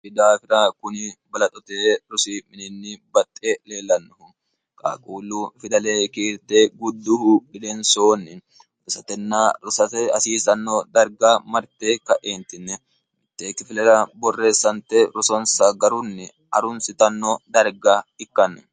idaafira kuni balaxote rosi'mininni baxxe leellannohu qaaquullu fidalee kiirte gudduhu bilensoonni otosatenna rosate hasiisanno darga marte ka eentinne mitteekkifilera borreessante rosonsa garunni arunsitanno darga ikkanno